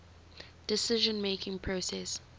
decision making process